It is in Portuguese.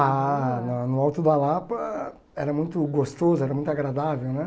Ah, na no Alto da Lapa era muito gostoso, era muito agradável, né?